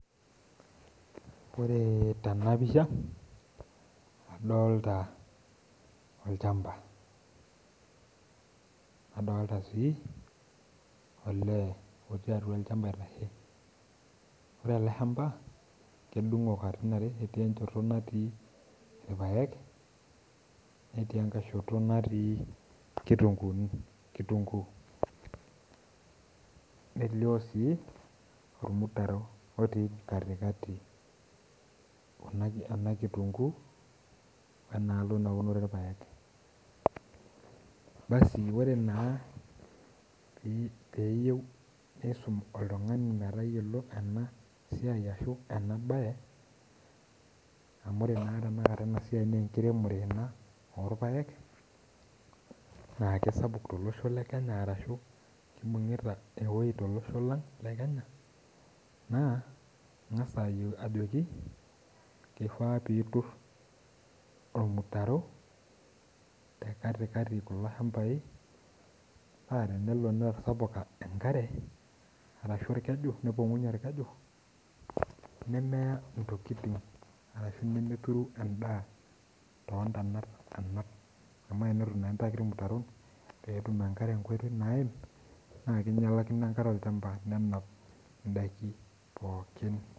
Ore tenapisha, adolta olchamba. Nadolta si, olee otii atua olchamba aitashe. Ore ele hamba, kedung'o katitin are, etii enchoto natii irpaek, netii enkae shoto natii inkitunkuuni, kitunkuu. Elio si, ormutaro otii katikati ena kitunkuu, wenaalo naunore irpaek. Basi ore naa peyieu nisum oltung'ani metayiolo enasiai ashu enabae, amu ore naa tanakata enasiai nenkiremore ena, amu irpaek, naa kesapuk tolosho le Kenya arashu kibung'ita ewei tolosho lang le Kenya, naa ing'asa ajoki, kifaa pitur ormutaro, te katikati kulo shambai, pa tenelo netasapuka enkare, arashu orkeju nepong'unye orkeju, nemeya intokiting, arashu nemeturu endaa tontanat anap. Amu enelo naa daiki irmutaro, petum enkare enkoitoi naim, na kinyalakino enkare olchamba nenap idaiki pookin.